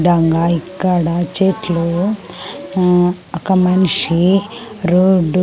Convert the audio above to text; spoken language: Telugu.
దంగా ఇక్కడ చెట్లు ఆ ఒక మనిషి రోడ్డు --